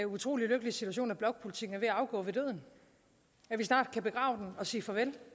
utrolig lykkelige situation at blokpolitikken er ved at afgå ved døden at vi snart kan begrave og sige farvel